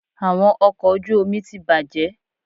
Awọn ọkọ oju omi ti bajẹ